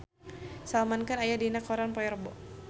Salman Khan aya dina koran poe Rebo